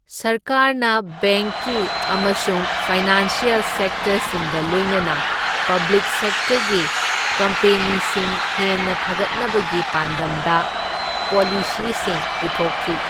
ꯁꯔꯀꯥꯔꯅ ꯕꯦꯡꯛꯀꯤ ꯑꯃꯁꯨꯡ ꯐꯥꯏꯅꯥꯟꯁꯤꯑꯦꯜ ꯁꯦꯛꯇꯔꯁꯤꯡꯒ ꯂꯣꯏꯅꯅ ꯄꯕ꯭ꯂꯤꯛ ꯁꯦꯛꯇꯔꯒꯤ ꯀꯝꯄꯦꯅꯤꯁꯤꯡ ꯍꯦꯟꯅ ꯐꯒꯠꯅꯕꯒꯤ ꯄꯥꯟꯗꯝꯗ ꯄꯣꯂꯤꯁꯤꯁꯤꯡ ꯄꯨꯊꯣꯛꯈꯤ꯫